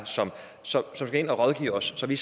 som skal rådgive os så vi